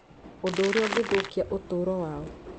ũndũ ũrĩa ũngĩthũkia ũtũũro wao.